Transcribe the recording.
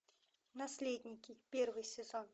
наследники первый сезон